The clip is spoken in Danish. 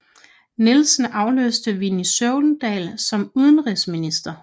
Nielsen afløste Villy Søvndal som udenrigsminister